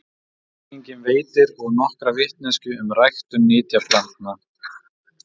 Frjógreiningin veitir og nokkra vitneskju um ræktun nytjaplantna.